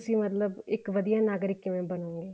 ਤੁਸੀਂ ਮਤਲਬ ਇੱਕ ਵਧੀਆ ਨਾਗਰਿਕ ਕਿਵੇਂ ਬਣੋਗੇ